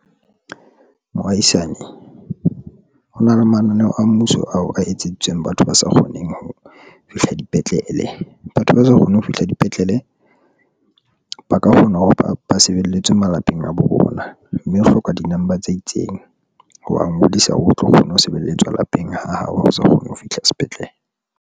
Mohaisane, hona le mananeo a mmuso a etseditsweng batho ba sa kgoneng ho fihla dipetlele. Batho ba sa kgone ho fihla dipetlele ba ka kgona ho ba sebelletswe malapeng a bo bona, mme o hloka di-number tse itseng ha ba ngodisa. O tlo kgona ho sebeletswa lapeng ha hao ha o sa kgona ho fihla sepetlele.